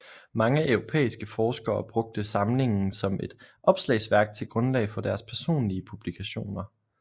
Mange europæiske forskere brugte samlingen som et opslagsværk til grundlag for deres personlige publikationer